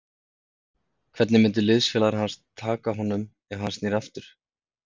Hvernig myndu liðsfélagar hans taka honum ef hann sneri aftur?